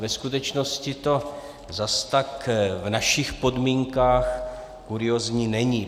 Ve skutečnosti to zas tak v našich podmínkách kuriózní není.